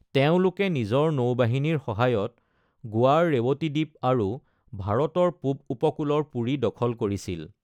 তেওঁলোকে নিজৰ নৌবাহিনীৰ সহায়ত গোৱাৰ ৰেৱতীদ্বীপ আৰু ভাৰতৰ পূব উপকূলৰ পুৰী দখল কৰিছিল।